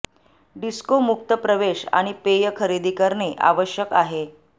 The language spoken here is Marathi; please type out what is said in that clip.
डिस्को मुक्त प्रवेश आणि पेय खरेदी करणे आवश्यक आहे